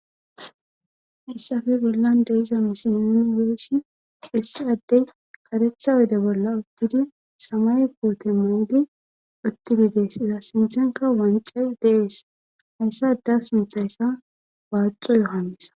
Hessafe gollan deiza misi yuni weeshi issi addey qaretha wode bolla uttidi samay koote may7di uttidi dees iza sinthenka wancay dees hayssa da sunthayka waaxo yohanisa.